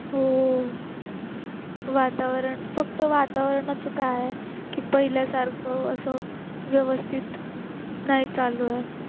हो. वातावरण फक्त वातावरणाचे काय की पहिल्यासारखं असं व्यवस्थित नाही चालूये